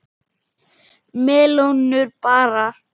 Melónur bara!